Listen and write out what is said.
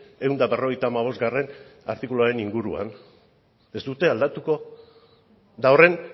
ehun eta berrogeita hamabostgarrena artikuluaren inguruan ez dute aldatuko eta horren